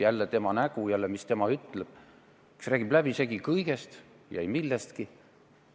Jälle tema nägu, jälle, mis tema ütleb, kuigi ta räägib läbisegi kõigest ja ei millestki.